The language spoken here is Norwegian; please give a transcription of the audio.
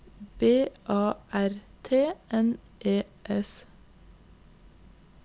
B A R T N E S